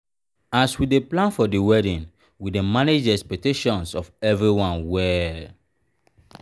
as we plan for the wedding we dey manage di expectations of everyone well.